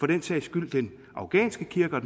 den sags skyld den afghanske kirke